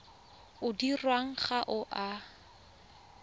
o dirwang ga o a